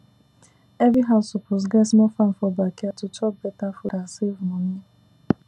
every house suppose get small farm for backyard to chop better food and save money